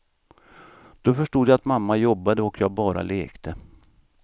Då förstod jag att mamma jobbade och jag bara lekte.